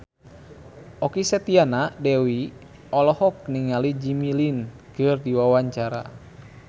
Okky Setiana Dewi olohok ningali Jimmy Lin keur diwawancara